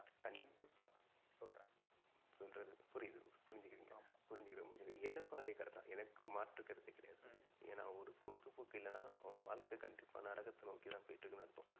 கண்டிப்பா சொல்றேன். புரிது புரிஞ்சிகிரன் புரிஞ்சிகிரன் புரிஞ்சிகிரன். எனக்கும் அதே கருத்து தான். எனக்கும் மாற்று கருத்தே கிடையாது ஹம் என்னா ஒரு பொழுதுபோக்கு இல்லனா அவங்க வாழ்கை கண்டிப்பா நரகத்தை நோக்கி தான் போயிட்டு இருக்குனு அர்த்தம். ஆமா